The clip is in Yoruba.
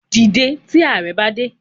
Dìde tí Ààrẹ bá dé